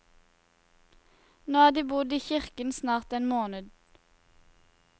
Nå har de bodd i kirken snart en måned.